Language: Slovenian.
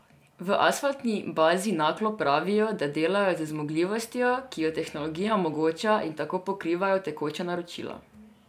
V Asfaltni bazi Naklo pravijo, da delajo z zmogljivostjo, ki jo tehnologija omogoča in tako pokrivajo tekoča naročila.